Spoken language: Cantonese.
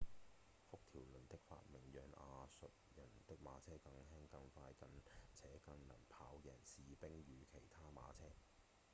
幅條輪的發明讓亞述人的馬車更輕、更快且更能跑贏士兵與其他馬車